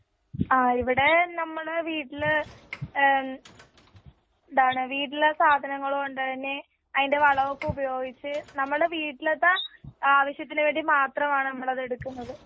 ആ ഇവിടെ നമ്മളെ വീട്ടില് ഏമ് വീട്ടിലെ സാദനങ്ങളുകൊണ്ടുതന്നെ അതിന്റെ വളങ്ങളുപയോഗിച് നമ്മളെ വീട്ടിലത്തെ നമ്മുടെ വീട്ടിലെ ആവശ്യത്തിന് വേണ്ടി മാത്രമാണ് നമ്മളത്തെടുക്കുന്നതു.